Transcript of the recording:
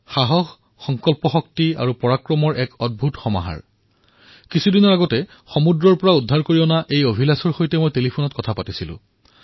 সাহস সংকল্পশক্তি পৰাক্ৰমৰ এক অদ্ভুত উদাহৰণ কিছুদিন পূৰ্বে অভিলাসক সমুদ্ৰৰ পৰা ৰক্ষা কৰি অনাৰ পিছত মই তেওঁৰ সৈতে ফোনত কথা পাতিলো